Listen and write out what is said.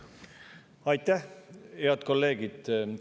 Aitäh, head kolleegid!